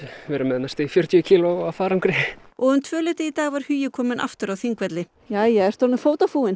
verið með næstum því fjörtíu kíló af farangri og um tvöleytið í dag var Hugi kominn aftur á Þingvelli jæja ertu orðinn